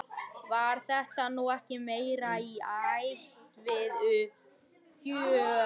Var þetta nú ekki meira í ætt við uppgjöf?